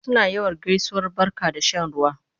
Suna yawan gaisuwar barka da shan ruwa.